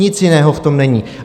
Nic jiného v tom není.